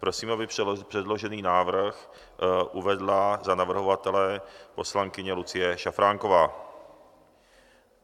Prosím, aby předložený návrh uvedla za navrhovatele poslankyně Lucie Šafránková.